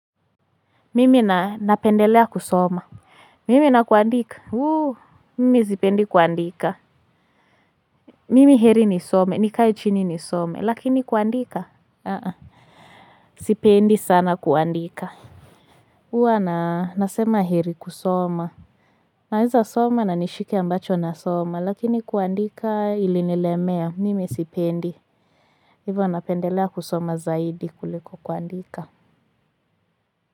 Mimi na napendelea kusoma. Mimi na kuandika. Mimi sipendi kuandika. Mimi heri nisome, nikae chini nisome, lakini kuandika. Sipendi sana kuandika. Huwa na nasema heri kusoma. Naize soma na nishike ambacho nasoma, lakini kuandika ili nilemea, mimi sipendi. Hivo napendelea kusoma zaidi kuliko kuandika.